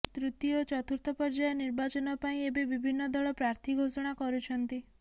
ତୃତୀୟ ଓ ଚତୁର୍ଥ ପର୍ଯ୍ୟାୟ ନିର୍ବାଚନ ପାଇଁ ଏବେ ବିଭିନ୍ନ ଦଳ ପ୍ରାର୍ଥୀ ଘୋଷଣା କରୁଛନ୍ତି